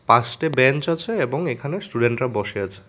Bench আছে এবং এখানে স্টুডেন্টরা বসে আছে।